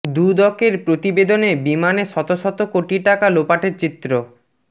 দুদকের প্রতিবেদনে বিমানে শত শত কোটি টাকা লোপাটের চিত্র